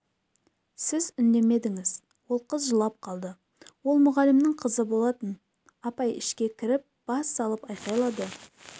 сіз үндемедіңіз ол қыз жылап қалды ол мұғалімнің қызы болатын апай ішке кіріп бас салып айқайлады